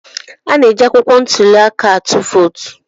A na-eji akwụkwọ ntuli aka ịtụ vootu.